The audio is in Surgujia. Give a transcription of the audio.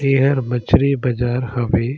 तेहा मछरी बाजार हवे।